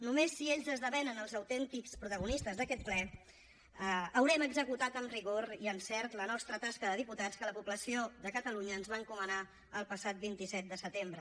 només si ells esdevenen els autèntics protagonistes d’aquest ple haurem executat amb rigor i encert la nostra tasca de diputats que la població de catalunya ens va encomanar el passat vint set de setembre